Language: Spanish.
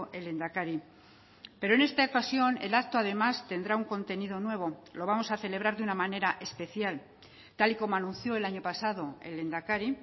el lehendakari pero en esta ocasión el acto además tendrá un contenido nuevo lo vamos a celebrar de una manera especial tal y como anunció el año pasado el lehendakari